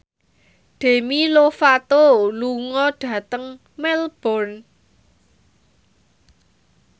Demi Lovato lunga dhateng Melbourne